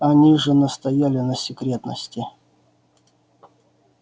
они же настояли на секретности